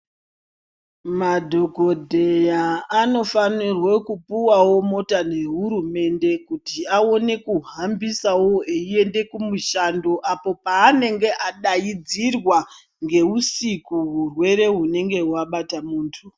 Madhokoteya anofanire kupawo mota ngehurumende kuti awane kuhambisaeo eienda kumushando apo paanenge adaidzirwa usiku urwere hunenge hwabata muntu.